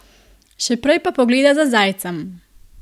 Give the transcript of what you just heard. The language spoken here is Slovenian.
Še prej pa pogleda za zajcem.